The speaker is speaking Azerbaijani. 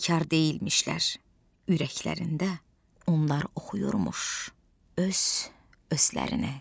Bekar deyilmişlər ürəklərində onlar oxuyurmuş öz özlərini.